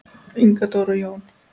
Inga Dóra og Jón.